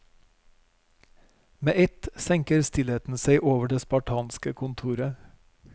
Med ett senker stillheten seg over det spartanske kontoret.